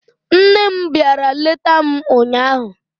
Nne m bịara leta m ụnyaahụ